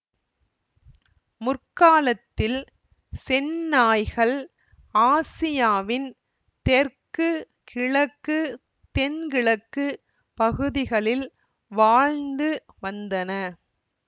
முற்காலத்தில் செந்நாய்கள் ஆசியாவின் தெற்கு கிழக்கு தென் கிழக்கு பகுதிகளில் வாழ்ந்து வந்தன